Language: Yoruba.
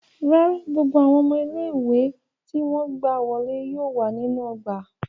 Rárà, gbogbo awọn ọmọ ile-iwe ti wọn gba wọle yóò wa ninu ogba